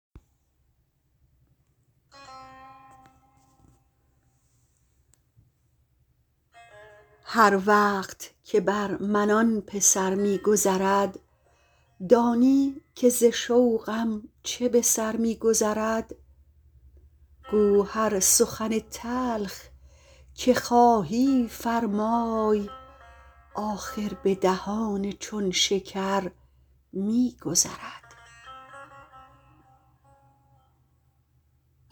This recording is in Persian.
هر وقت که بر من آن پسر می گذرد دانی که ز شوقم چه به سر می گذرد گو هر سخن تلخ که خواهی فرمای آخر به دهان چون شکر می گذرد